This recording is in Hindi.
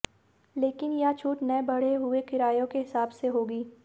लेकिन यह छूट नए बढ़े हुए किराये के हिसाब से होगी